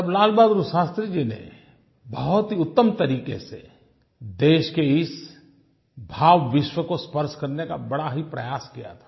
तब लाल बहादुर शास्त्री जी ने बहुत ही उत्तम तरीक़े से देश के इस भावविश्व को स्पर्श करने का बड़ा ही प्रयास किया था